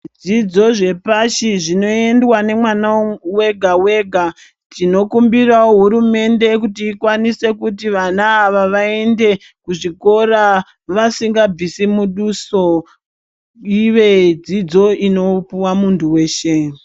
Zvidzidzo zvepashi zvinoyendwa nemwana wega wega. Tinokumbira hurumende kuti ikwanise kuti vana ava vayende kuzvikora, vasingabvisi muduso, ive dzidzo inopiwa muntu wese.